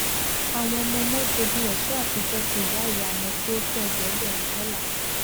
àwọn ọmọọmọ jogún ẹṣọ àtijọ ti ìyàìyá wọn tí ó tó ẹgbẹgbèrún dollar